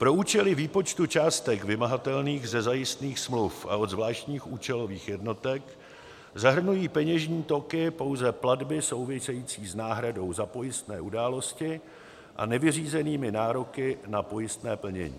Pro účely výpočtu částek vymahatelných ze zajistných smluv a od zvláštních účelových jednotek zahrnují peněžní toky pouze platby související s náhradou za pojistné události a nevyřízenými nároky na pojistné plnění.